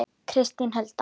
Kristín Hulda.